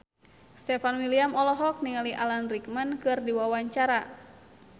Stefan William olohok ningali Alan Rickman keur diwawancara